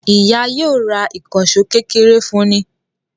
Ìyá yóò ra ìkànṣọ́ kékeré fún ní